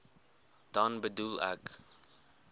dan bedoel ek